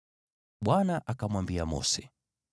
Bwana akamwambia Mose,